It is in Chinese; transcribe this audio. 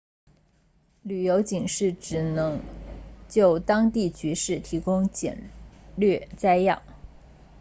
旅游警示只能就当地局势提供简略摘要